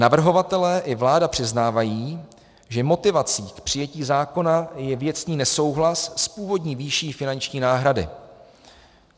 Navrhovatelé i vláda přiznávají, že motivací k přijetí zákona je věcný nesouhlas s původní výší finanční náhrady.